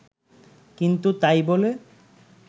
কিন্তু তাই বলে